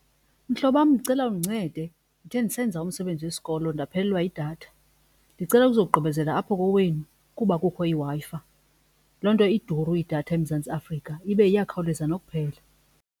Mhlobo wam ndicela undincede ndithe ndisenza umsebenzi wesikolo ndaphelelwa yidatha. Ndicela ukuzogqibezela apho kowenu kuba kukho iWi-Fi. Loo nto iduru idatha eMzantsi Afrika ibe iyakhawuleza nokuphela.